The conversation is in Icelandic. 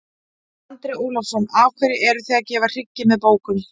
Andri Ólafsson: Af hverju eruð þið að gefa hryggi með bókum?